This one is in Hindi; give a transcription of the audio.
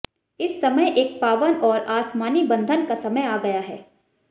इस समय एक पावन और आसमानी बंधन का समय आ गया है